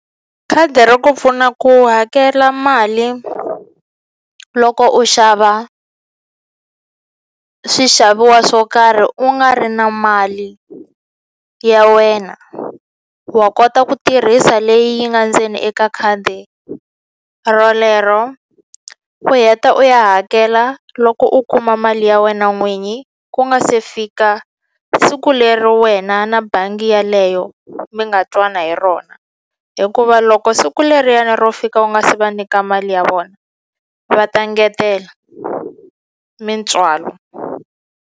Khadi ri ku pfuna ku hakela mali loko u xava swixaviwa swo karhi u nga ri na mali ya wena wa kota ku tirhisa leyi yi nga ndzeni eka khadi rolero u heta u ya hakela loko u kuma mali ya wena n'winyi ku nga se fika siku leri wena na bangi yaleyo mi nga twana u hi rona hikuva loko siku leriyani ro fika u nga se va nyika mali ya vona va ta ngetela mintswalo.